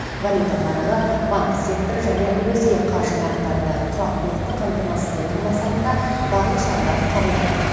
валюта нарығы банк секторы және өзге қаржы нарықтарындағы тұрақтылықты қамтамасыз ету мақсатында барлық шаралар қабылданады